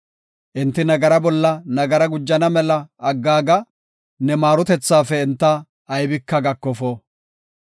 Enti nagaraa bolla nagara gujana mela aggaaga; ne maarotethaafe enta aybika gakofo.